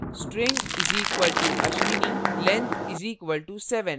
string = ashwini length = 7